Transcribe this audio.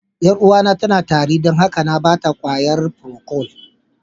Yar'uwata tana tari don haka na ba ta ƙwayan "procold".